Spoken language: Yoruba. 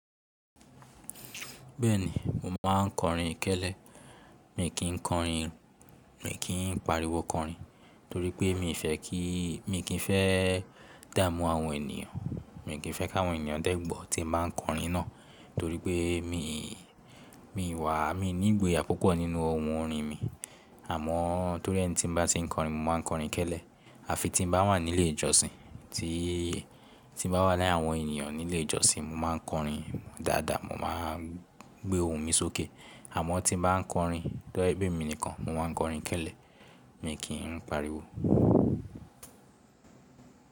Bẹ́ẹ̀ni, mo máa ń kọrin kẹ́lẹ́. Mi kì í kọrin, mi kì í pariwo kọrin torí pé mi fẹ́ kí, mi kì í fẹ́ dámú àwọn ènìyàn. Mi kì í fẹ́ ká àwọn ènìyàn dẹ́ gbọ̀ tí mo bá ń kọrin náà torí pé mi, mi wà, mi ní ìgboyà púpọ̀ nínú ohun orin mi. Àmọ́ torí ẹni tí mo bá ti ń kọrin, mo máa kọrin kẹ́lẹ́. Àfi tí n bá wà nílé ìjọsìn, tí, tí n bá wà láyé àwọn ènìyàn nílé ìjọsìn, mo máa kọrin dáadáa, mo máa gbé ohun mi sókè. Àmọ́ tí n bá ń kọrin tó jẹ́ pe èmi nìkan, mo máa ń kọrin kẹ́lẹ́, mi kì í ń pariwo.